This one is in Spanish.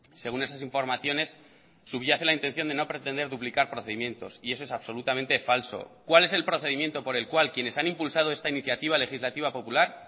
según esas informaciones subyace la intención de no pretender duplicar procedimientos y eso es absolutamente falso cuál es el procedimiento por el cual quienes han impulsado esta iniciativa legislativa popular